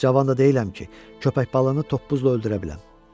Cavan da deyiləm ki, köpək balığını toppuzla öldürə biləm.